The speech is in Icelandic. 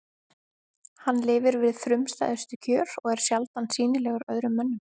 Hann lifir við frumstæðustu kjör og er sjaldan sýnilegur öðrum mönnum.